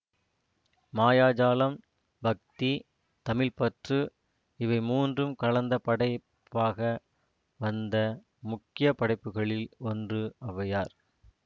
மாயாஜாலம் பக்தி தமிழ்ப்பற்று இவை மூன்றும் கலந்த படைப்பாக வந்த முக்கிய படைப்புகளில் ஒன்று ஒளவையார்